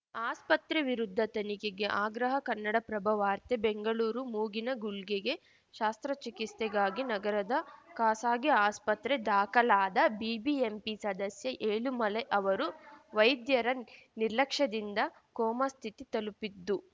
ಆಸ್ಪತ್ರೆ ವಿರುದ್ಧ ತನಿಖೆಗೆ ಆಗ್ರಹ ಕನ್ನಡಪ್ರಭ ವಾರ್ತೆ ಬೆಂಗಳೂರು ಮೂಗಿನ ಗುಳ್ಗೆಗೆ ಶಾಸ್ತ್ರ ಚಿಕಿತ್ಸೆಗಾಗಿ ನಗರದ ಖಾಸಾಗಿ ಆಸ್ಪತ್ರೆಗೆ ದಾಖಲಾದ ಬಿಬಿಎಂಪಿ ಸದಸ್ಯ ಏಳುಮಲೈ ಅವರು ವೈದ್ಯರ ನಿರ್ಲಕ್ಷ್ಯದಿಂದ ಕೋಮಾಸ್ಥಿತಿ ತಲುಪಿದ್ದು